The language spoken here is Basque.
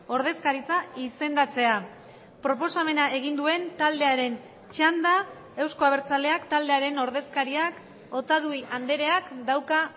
ordezkaritza izendatzea proposamena egin duen taldearen txanda euzko abertzaleak taldearen ordezkariak otadui andreak dauka